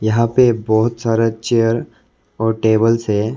यहां पे बहुत सारा चेयर और टेबल्स है।